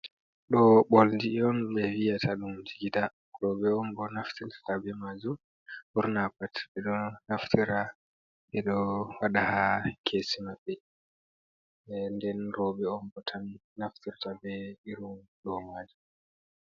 Ɗo oldi on ɓeviyata ɗum jigida. Roɓe on bo naftirta be majum. Ɓurna pat ɓeɗo naftira ɓeɗo waɗa haa kesi maɓɓe, nden roɓe on bo tan naftirta be irin ɗo majum.